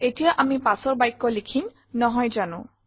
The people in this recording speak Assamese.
এতিয়া আমি পাছৰ বাক্য লিখিম নহয় জানো